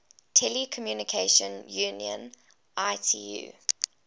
telecommunication union itu